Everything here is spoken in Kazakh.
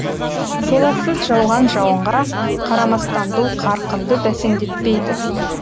толассыз жауған жауынға қарамастан бұл қарқынды бәсеңдетпейді